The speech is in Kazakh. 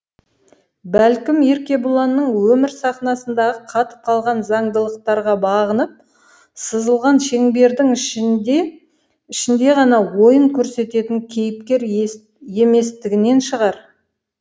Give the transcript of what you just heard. бәлкім еркебұланның өмір сахнасындағы қатып қалған заңдылықтарға бағынып сызылған шеңбердің ішінде ғана ойын көрсететін кейіпкер еместігінен шығар